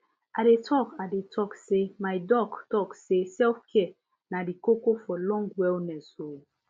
i dey talk i dey talk say my doc talk say selfcare na di koko for long wellness o